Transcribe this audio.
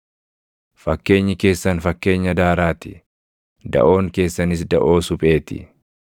Fakkeenyi keessan fakkeenya daaraa ti; daʼoon keessanis daʼoo suphee ti.